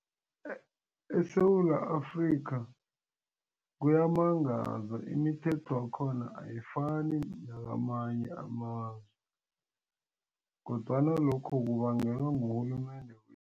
ESewula Afrika kuyamangaza imithetho yakhona ayifani nakamanye amazwe kodwana lokho kubangelwa ngurhulumende